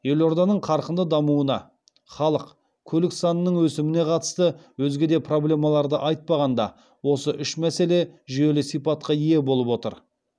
елорданың қарқынды дамуына халық көлік санының өсіміне қатысты өзге де проблемаларды айтпағанда осы үш мәселе жүйелі сипатқа ие болып отыр